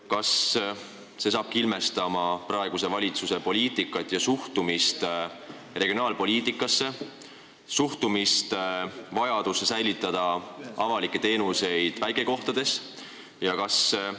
Kas see hakkabki ilmestama praeguse valitsuse poliitikat ja suhtumist regionaalpoliitikasse, vajadusse säilitada avalikke teenuseid väikekohtades?